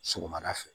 Sɔgɔmada fɛ